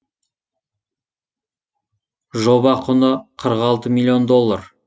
жоба құны қырық алты миллион доллар